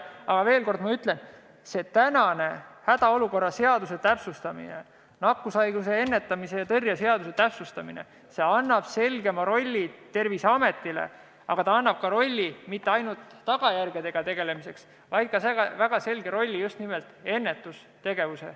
Aga ma veel kord ütlen, et tänase hädaolukorra seaduse ning nakkushaiguste ennetamise ja tõrje seaduse täpsustamine annab selgema rolli Terviseametile, aga mitte ainult tagajärgedega tegelemiseks, vaid just nimelt ka ennetustegevuseks.